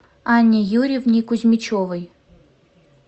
анне юрьевне кузьмичевой